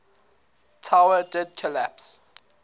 tower did collapse